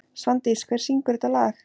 Svandís, hver syngur þetta lag?